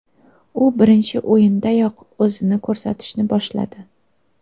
U birinchi o‘yindanoq o‘zini ko‘rsatishni boshladi.